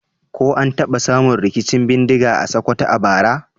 Ko an taba samun rikicin bindiga a Sokoto a bara?